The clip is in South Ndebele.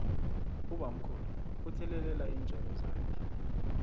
ubamkhulu uthelelela iintjalo zakhe